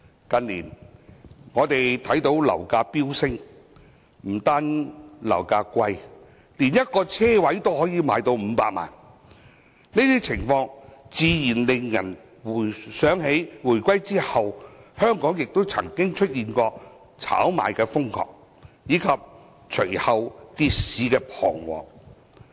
近年樓價飆升，不單樓價高昂，一個車位都可以賣500萬元，這種情況自然令人想起，香港回歸後曾經出現瘋狂炒賣及隨後跌市的彷徨。